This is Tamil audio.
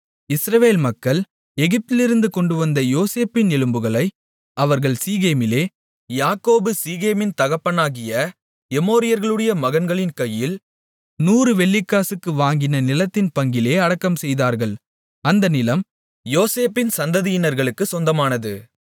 இஸ்ரவேல் மக்கள் எகிப்திலிருந்து கொண்டுவந்த யோசேப்பின் எலும்புகளை அவர்கள் சீகேமிலே யாக்கோபு சீகேமின் தகப்பனாகிய எமோரியர்களுடைய மகன்களின் கையில் 100 வெள்ளிக்காசுக்கு வாங்கின நிலத்தின் பங்கிலே அடக்கம்செய்தார்கள் அந்த நிலம் யோசேப்பின் சந்ததியினர்களுக்குச் சொந்தமானது